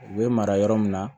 U bɛ mara yɔrɔ min na